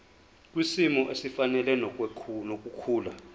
kwisimo esifanele nokukhula